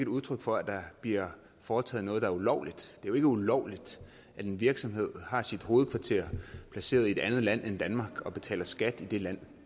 udtryk for at der bliver foretaget noget der er ulovligt det jo ikke ulovligt at en virksomhed har sit hovedkvarter placeret i et andet land end danmark og betaler skat i det land